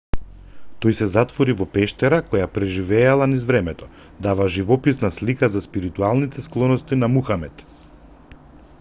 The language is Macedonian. тој се затвори во пештера која преживела низ времето дава живописна слика за спиритуалните склоности на мухамед